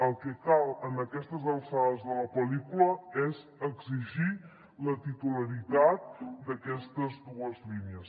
el que cal a aquestes alçades de la pel·lícula és exigir la titularitat d’aquestes dues línies